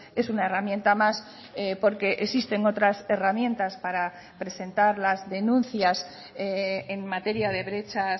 es una herramienta más porque existen otras herramientas para presentar las denuncias en materia de brecha